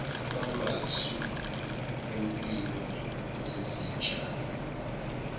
kwamasu empilo yezitshalo